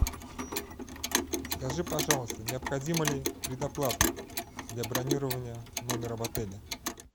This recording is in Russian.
скажи пожалуйста необходима ли предоплата для бронирования номера в отеле